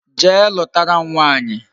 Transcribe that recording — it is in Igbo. Jee lutara m nwaanyi